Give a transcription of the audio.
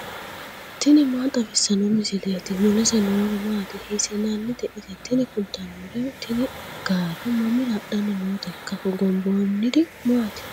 tini maa xawissanno misileeti ? mulese noori maati ? hiissinannite ise ? tini kultannori tini gaare mamira hadhanni nooteikka hogomboonniri maati